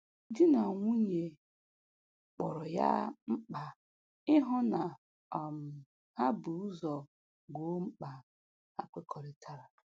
Di na nwunye kpọrọ ya mkpa ịhụ na um ha bu ụzọ gboo mkpa ha kekọrịtara